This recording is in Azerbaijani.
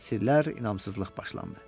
Sirlər, inamsızlıq başlandı.